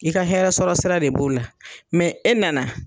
I ka hɛrɛɛ sɔrɔ sira de b'o la mɛ e nana